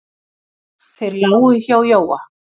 Þeir lágu hjá Jóa.